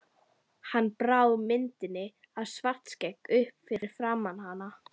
Hann brá myndinni af Svartskegg upp fyrir framan hana.